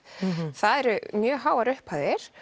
það eru mjög háar upphæðir